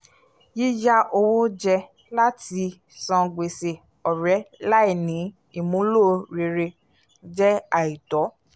yíyá owó jẹ láti san gbèsè ọ̀rẹ́ láì ní ìmúlò rere jẹ́ àìtọ́